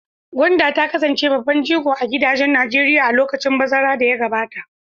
Gwanda ta kasance babban jigo a gidajen Najeriya a lokacin bazara da ya gabata.